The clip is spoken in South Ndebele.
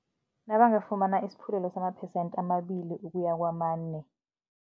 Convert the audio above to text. Nabangafumana isiphulelo sama-percent amabili ukuya kwamane.